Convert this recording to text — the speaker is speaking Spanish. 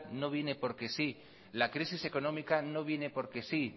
no viene porque sí la crisis económica no viene por que sí